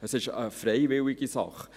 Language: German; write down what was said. Es ist eine freiwillige Sache.